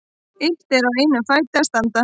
Illt er á einum fæti að standa.